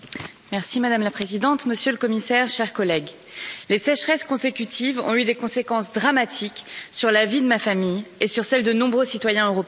Madame la Présidente, Monsieur le Commissaire, chers collègues, les sécheresses consécutives ont eu des conséquences dramatiques sur la vie de ma famille et sur celle de nombreux citoyens européens.